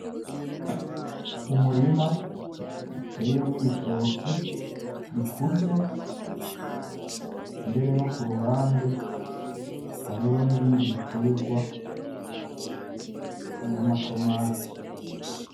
Umurima uteyemwo ibitoki bikuze mbere no kuruhande hariho n'ibindi bitegwa nk’amatomati.